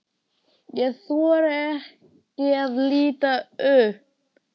Ég þori ekki að líta upp.